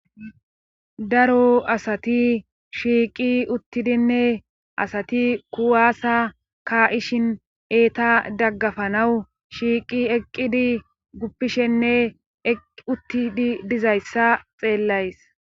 daro asati shiiqi uttidinne asati kuwaasa ka7ishin eeta daggafanawu shiiqi eqqidi guppishenne uttidi dizayssa xeellays